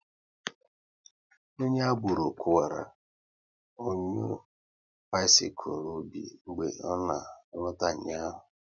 Onye agboro kuwara onyo bisikul Obi mgbe ọ na alota ụnyaahụ